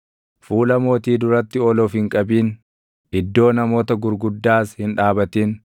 Fuula mootii duratti ol of hin qabin; iddoo namoota gurguddaas hin dhaabatin;